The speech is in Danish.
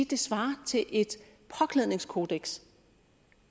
det svarer til et påklædningskodeks